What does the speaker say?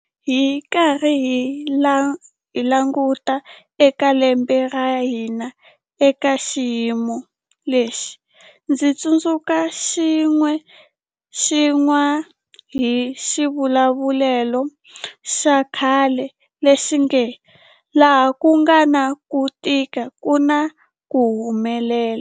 Loko hi karhi hi languta eka lembe ra hina eka xiyimo lexi, ndzi tsundzuxiwa hi xivulavulelo xa khale lexi nge, laha ku nga na ku tika ku na ku humelela.